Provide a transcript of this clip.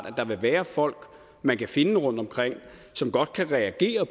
at der vil være folk man kan finde rundtomkring som godt kan reagere